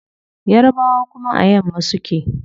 Yarbawa kuma a yamma suke